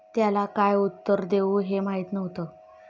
त्याला काय उत्तर देऊ हे माहीत नव्हतं.